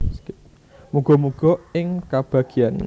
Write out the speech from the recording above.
Muga muga ing kabagyan